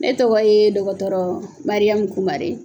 Ne tɔgɔ ye dɔgɔtɔrɔ Mariamu Kumare